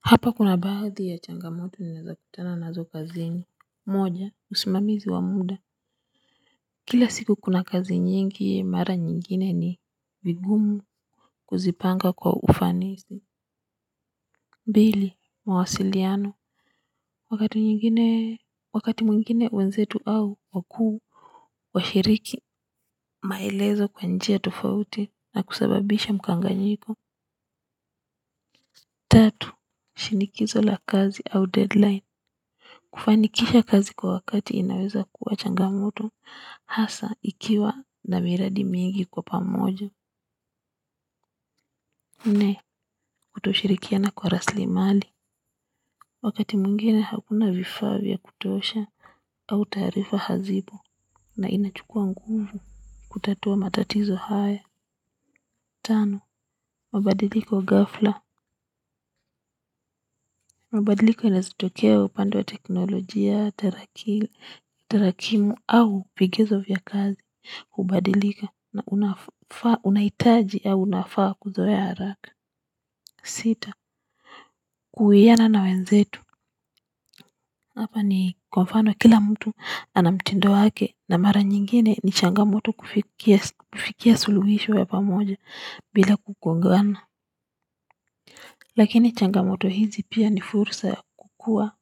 Hapa kuna baadhi ya changamoto ninaweza kutana nazo kazini moja usimamizi wa muda kila siku kuna kazi nyingi mara nyingine ni vigumu kuzipanga kwa ufanisi pili mawasiliano wakati nyingine wakati mwingine wenzetu au wakuu washiriki maelezo kwa njia tofauti na kusababisha mkanganyiko tatu shinikizo la kazi au deadline. Kufanikisha kazi kwa wakati inaweza kuwa changamoto hasa ikiwa na miradi mingi kwa pamoja. Nne, kutoshirikiana kwa raslimali. Wakati mwingine hakuna vifaa vya kutosha au taarifa hazipo na inachukua nguvu. Kutatua matatizo haya. Tano, mabadiliko ghafla. Mabadiliko inaeza tokea upande wa teknolojia, tarakimu au vigezo vya kazi. Kubadilika na unafaa unahitaji au unafaa kuzoea haraka sita, kuwiana na wenzetu ama ni kwa mfano kila mtu ana mtindo wake na mara nyingine ni changamoto kufikia suluhisho ya pamoja bila kugongana lakini changamoto hizi pia ni fursa ya kukua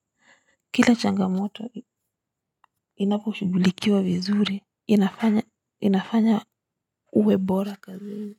kila changamoto inaposhughulikiwa vizuri inafanya inafanya uwe bora kazini.